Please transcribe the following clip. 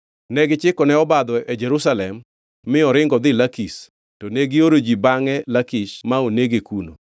Negichikone obadho e Jerusalem mi oringo odhi Lakish, to negioro ji bangʼe Lakish ma onege kuno.